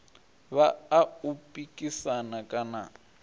vha a u pikisana kana